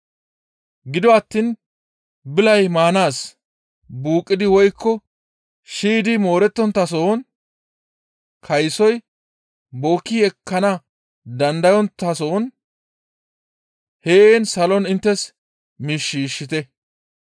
Gido attiin bilay maanaas, buuqqidi woykko shiydi moorettonttason, kaysoy bookki ekkana dandayonttason heen salon inttes miish shiishshite.